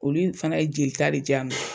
Olu fana ye jeli ta de di yan.